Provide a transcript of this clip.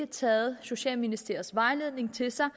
taget socialministeriets vejledning til sig